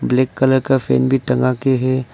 Black colour का fan भी टंगा के है।